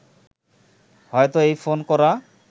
হয়ত এই ফোন করা